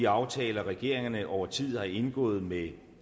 aftaler regeringerne over tid har indgået med